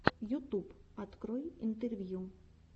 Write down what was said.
ютуб открой интервью